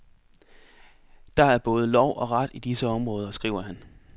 Der er både lov og ret i disse områder, skriver han.